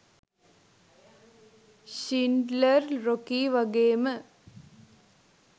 Schindler Rocky වගේම